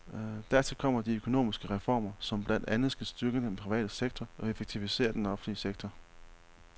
Dertil kommer de økonomiske reformer, som blandt andet skal styrke den private sektor og effektivisere den offentlige sektor.